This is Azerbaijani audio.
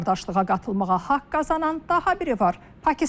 Bu qardaşlığa qatılmağa haqq qazanan daha biri var: Pakistan.